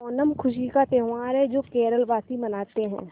ओणम खुशी का त्यौहार है जो केरल वासी मनाते हैं